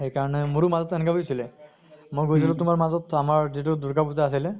সেই কাৰণে মোৰো মাজতে এনেকা হৈছিলে। মই গৈছিলো তোমাৰ মাজত আমাৰ যিটো দুৰ্গা পুজা আছিলে